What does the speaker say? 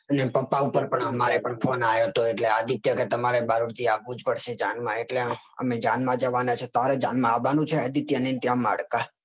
એટલે પપા ઉપર અમને પણ phone આયો તો એટલે આદિત્યની જાણ માં આવાનું છે તમારે